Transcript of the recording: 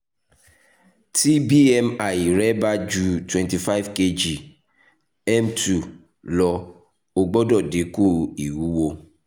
ti bmi rẹ ba ju twenty five kg / m two lọ o gbọdọ dinku iwuwo